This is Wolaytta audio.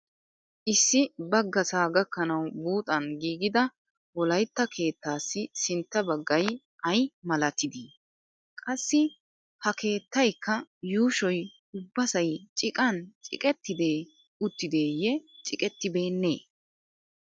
Issi baggasaa gakkanawu buuxan giigida wolaytta keettaassi sintta baggay ay malatidi? Qassi ha keettayikka yuushoy ubbasay ciqan ciqettidee uttideeyye ciqettibeennee